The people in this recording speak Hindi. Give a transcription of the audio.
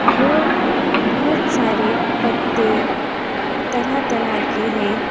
वो बहुत सारे पत्ते तरह तरह के हैं।